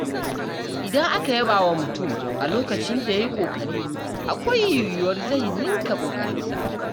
Idan aka yaba wa mutum a lokacin da ya yi ƙoƙari, akwai yiwuwar zai ninka ƙoƙarinsa.